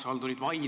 Austatud minister!